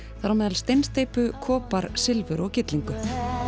þar á meðal steinsteypu kopar silfur og gyllingu